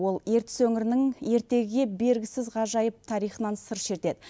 ол ертіс өңірінің ертегіге бергісіз ғажайып тарихынан сыр шертеді